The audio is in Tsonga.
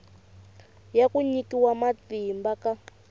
ya ku nyikiwa matimba ka